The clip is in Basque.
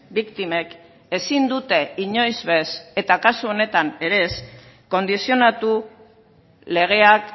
biktimek ezin dute inoiz bez eta kasu honetan ere ez kondizionatu legeak